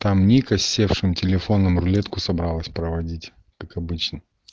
там ника с севшим телефоном рулетку собралась проводить как обычно